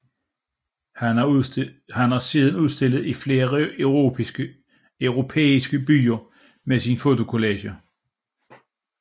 Han har siden udstillet i flere europæiske byer med sine fotocollager